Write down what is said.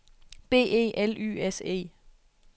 B E L Y S E